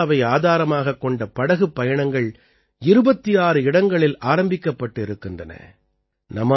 இந்த சுற்றுலாவை ஆதாரமாகக் கொண்ட படகுப் பயணங்கள் 26 இடங்களில் ஆரம்பிக்கப்பட்டு இருக்கின்றன